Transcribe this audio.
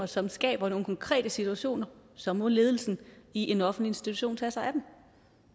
som skaber nogle konkrete situationer så må ledelsen i en offentlig institution tage sig af dem